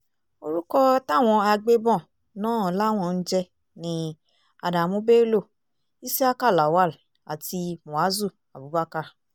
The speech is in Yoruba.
orúkọ táwọn agbébọ̀n náà làwọn ń jẹ́ ni adamu bello isiaku lawal àti muazu abubakar